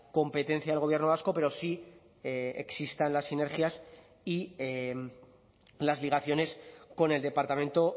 competencia del gobierno vasco pero sí existan las sinergias y las ligaciones con el departamento